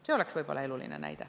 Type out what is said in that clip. See oleks võib-olla eluline näide.